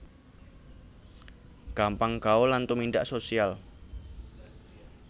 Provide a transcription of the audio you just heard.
Gampang gaul lan tumindak social